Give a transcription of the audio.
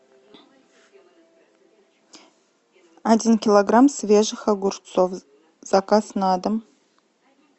один килограмм свежих огурцов заказ на дом